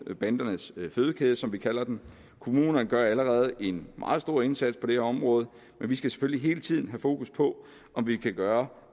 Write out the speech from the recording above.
bandernes fødekæde som vi kalder den kommunerne gør allerede en meget stor indsats på det her område men vi skal selvfølgelig hele tiden have fokus på om vi kan gøre